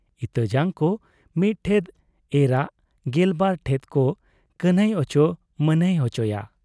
ᱤᱛᱟᱹ ᱡᱟᱝ ᱠᱚ ᱢᱤᱫ ᱴᱷᱮᱫ ᱮᱨᱟᱜ ᱜᱮᱞᱵᱟᱨ ᱴᱷᱮᱫ ᱠᱚ ᱠᱟᱹᱱᱷᱟᱹᱭ ᱚᱪᱚ ᱢᱟᱱᱦᱟᱹᱭ ᱚᱪᱚᱭᱟ ᱾